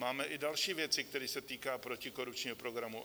Máme i další věci, které se týkají protikorupčního programu.